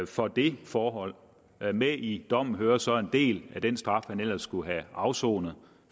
for det forhold med i dommen hører så en del af den straf han ellers skulle have afsonet